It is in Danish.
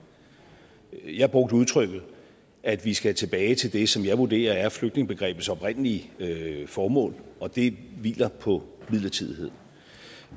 jeg brugte udtrykket at vi skal tilbage til det som jeg vurderer er flygtningebegrebets oprindelige formål og det hviler på midlertidighed